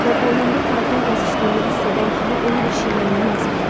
Və boynumda tarakan gəzişdiyini hiss edən kimi onu bir şilləylə əzirəm.